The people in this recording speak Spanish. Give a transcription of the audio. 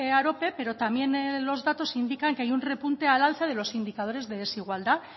arope pero también los datos indican que hay un repunte al alza de los indicadores de desigualdad